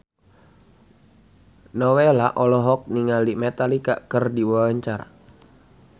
Nowela olohok ningali Metallica keur diwawancara